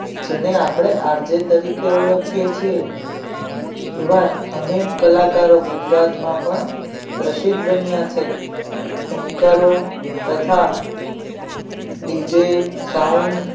જેને આપણે આજે તરીકે ઓળખીએ છીએ એવા અનેક કલાકારો ગુજરાતમાં પણ પ્રસિદ્ધ બન્યા છે anchor તથા dj shond